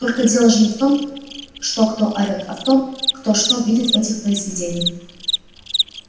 только дело же не в том что кто орёт а в том кто что видит в этих произведениях